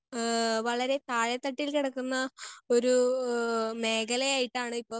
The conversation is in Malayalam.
സ്പീക്കർ 1 ആഹ് വളരെ താഴെത്തട്ടിൽ കിടക്കുന്ന ഒരൂ മേഖലയായിട്ടാണ് ഇപ്പം